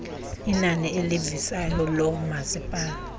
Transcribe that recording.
inani elivisayo loomasipala